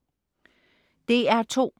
DR2: